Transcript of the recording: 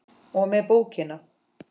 og með bókina!